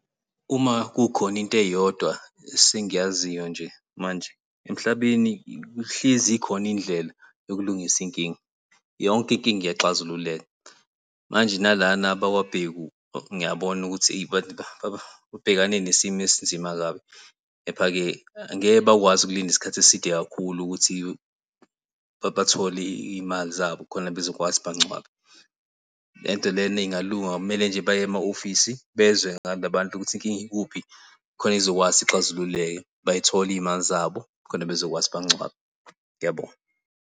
Uma kukhona into eyodwa esengiyaziyo nje manje emhlabeni ihlezi ikhona indlela yokulungisa izinkinga, yonke inkinga iyaxazululeka. Manje nalana abakwaBhengu ngiyabona ukuthi eyi babhekane nesimo esinzima kabi, kepha-ke angeke bakwazi ukulinda isikhathi eside kakhulu ukuthi bathole iy'mali zabo khona bezokwazi bancwabe. Lento lena ingalunga kumele nje baye ema-ofisi bezwe ngalabantu ukuthi inkinga ikuphi khona izokwazi ukuthi ixazululeke bay'thole izimali zabo khona bezokwazi bangcwabe. Ngiyabonga.